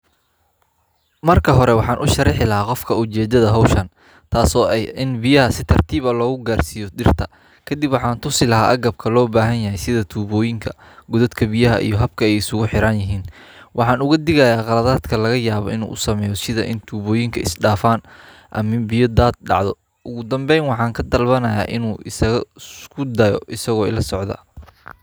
Waraabka dhibic-dhibic ah waa hab casri ah oo wax-ku-ool ah oo lagu waraabiyo dhul-beereedka iyadoo biyaha si toos ah loogu shubayo xididdada dhirta iyada oo la adeegsanayo tuubooyin yaryar oo dhuuban oo leh daloolo yar-yar oo biyaha uga baxaan si tartiib ah oo joogto ah, taas oo ka caawisa in biyaha aanay lumin inta badan oo aysan ku dhammaan dhulka dusha sare.